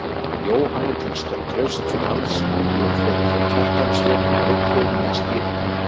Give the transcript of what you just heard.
Jóhanni til trausts og halds fóru þeir Kjartan, Sveinn og Viggó með stýrinu.